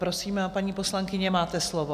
Prosím, paní poslankyně, máte slovo.